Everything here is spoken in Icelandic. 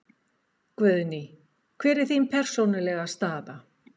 Guðný: Hver er þín persónulega staða?